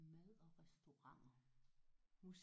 Mad og restauranter